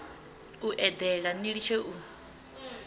u eḓela ni litshe u